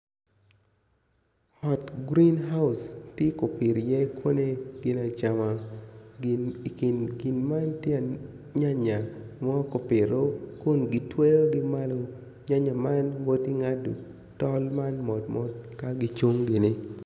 Ot green house tye kipito i ye koni gin acama gin man tye nyanya mokipito kun gitweyo gi malo nyanya man wot i ngado tol mot mot ka gicung gini.